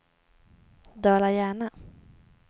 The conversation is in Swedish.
Dala-Järna